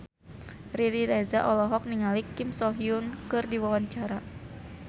Riri Reza olohok ningali Kim So Hyun keur diwawancara